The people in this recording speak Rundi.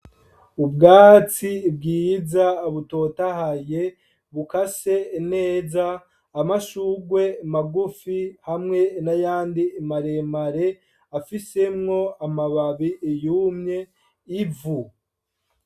Ubwatsi bwiza butotahaye bukase neza , amashurwe magufi hamwe nayandi maremare afisemwo amababi yumye ivu.